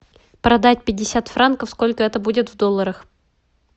продать пятьдесят франков сколько это будет в долларах